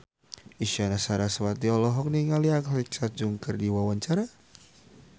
Isyana Sarasvati olohok ningali Alexa Chung keur diwawancara